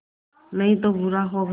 नहीं तो बुरा होगा